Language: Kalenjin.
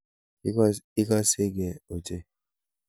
Igasegee ochei.